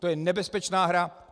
To je nebezpečná hra.